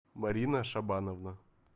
марина шабановна